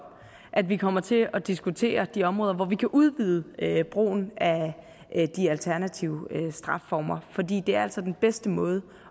at vi kommer til at diskutere de områder hvor vi kan udbyde brugen af de alternative strafformer for det er altså den bedste måde